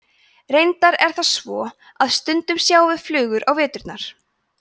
reyndar er það svo að stundum sjáum við flugur á veturna